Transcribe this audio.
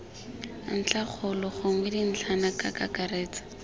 ntlhakgolo gongwe dintlhana ka kakaretso